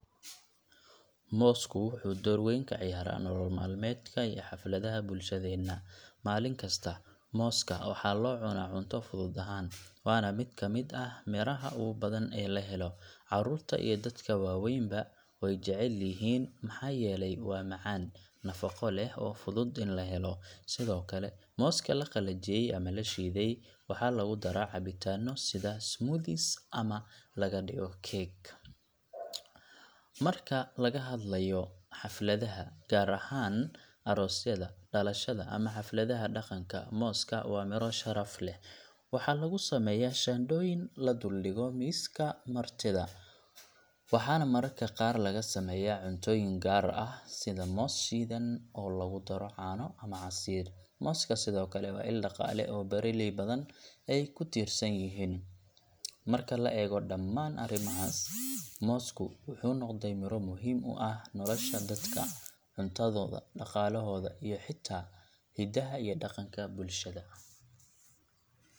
Mossku wuxu dowr weyn kaciyara nolol malmedka hafladaxa bulshadena, malinkasta mooska waxa locuna cunta fudud ahan, wana mid kamid ah miraa ogubadan ee lahelo, carurta iyo dadka wawenba wayjecelyixi maxa yele wa macan, nafaqo leh oo fudud i laxelo, sidhokale mooska laqalajiye ama lashidey waxa lagudara cabitano sidha smoothies ama lagadiyo cake, marka lagaxadlayo hafladaha gaar ahan arosyada, dalashada, ama hafladaha daqanka mosska wa miroo sharaf leh, waxa lagusameya shandoyin laduldigo miska martida, waxan mararka qaar lagasameya cuntoyin qaar ah sidha moos shidan oo lagudaro cano ama cansir, mooska Sidhokale wa il daqala oo beraley badan ay kutirsanyixi, marka laego daman arimaxas, moosku wuxu nogday miroo muxiim u ah noladha dadka cuntadoda, daqalaxoda, iyo xita hidaha iyo daqanka bulshada.